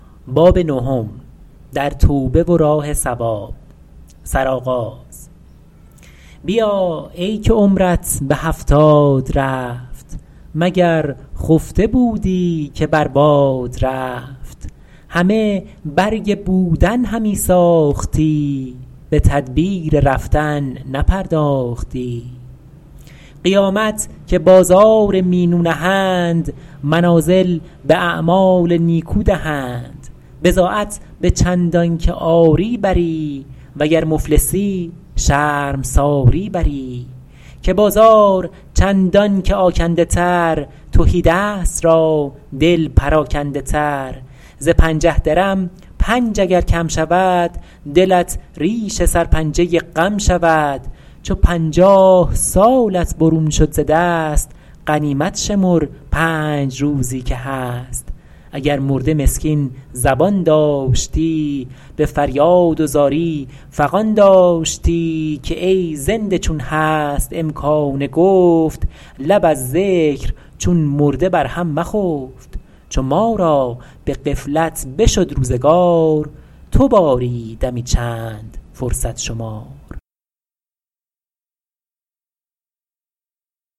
بیا ای که عمرت به هفتاد رفت مگر خفته بودی که بر باد رفت همه برگ بودن همی ساختی به تدبیر رفتن نپرداختی قیامت که بازار مینو نهند منازل به اعمال نیکو دهند بضاعت به چندان که آری بری وگر مفلسی شرمساری بری که بازار چندان که آکنده تر تهیدست را دل پراکنده تر ز پنجه درم پنج اگر کم شود دلت ریش سرپنجه غم شود چو پنجاه سالت برون شد ز دست غنیمت شمر پنج روزی که هست اگر مرده مسکین زبان داشتی به فریاد و زاری فغان داشتی که ای زنده چون هست امکان گفت لب از ذکر چون مرده بر هم مخفت چو ما را به غفلت بشد روزگار تو باری دمی چند فرصت شمار